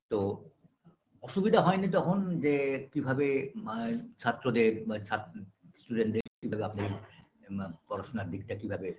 তো অসুবিধা হয়নি তখন যে কিভাবে আ ছাত্রদের বা ছাত্রী student - দের কী ভাবে আপনি ম পড়াশোনার দিকটা কি ভাবে